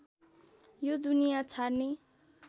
यो दुनिया छाड्ने